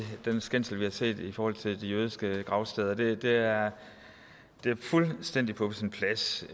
den skændsel vi har set i forhold til de jødiske gravsteder det det er fuldstændig på sin plads